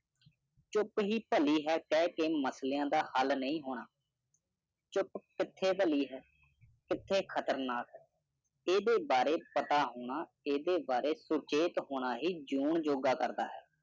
ਚੁੱਪ ਹੀ ਪਲੀ ਹੈ ਕੇਹ ਕੇ ਮਸਲਿਆਂ ਦਾ ਹਾਲ ਨਹੀਂ ਹੋਣਾ ਚੁੱਪ ਕਿਥੇ ਪਲੀ ਹੈ ਕਿਥੇ ਖ਼ਤਰਨਾਕ ਹੈ ਇਦੇ ਬਾਰੇ ਪਤਾ ਹੋਣਾ ਇਦੇ ਬਾਰੇ ਸੁਚੇਤ ਹੋਣਾ ਹੀ ਜਨੂੰਨ ਜੋਗਾ ਕਰਦਾ ਹੈ